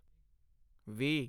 ਵੀਹ